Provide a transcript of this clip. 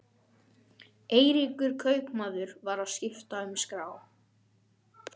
Eiríkur kaupmaður var að skipta um skrá.